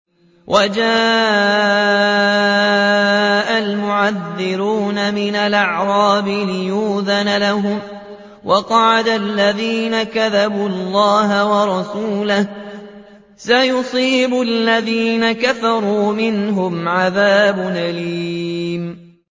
وَجَاءَ الْمُعَذِّرُونَ مِنَ الْأَعْرَابِ لِيُؤْذَنَ لَهُمْ وَقَعَدَ الَّذِينَ كَذَبُوا اللَّهَ وَرَسُولَهُ ۚ سَيُصِيبُ الَّذِينَ كَفَرُوا مِنْهُمْ عَذَابٌ أَلِيمٌ